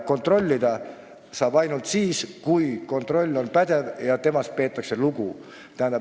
Kontrollida võib ainult siis, kui kontroll on pädev ja temast peetakse lugu.